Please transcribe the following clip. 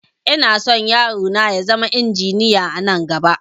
Inason yaro na ya zama injiniya anan gaba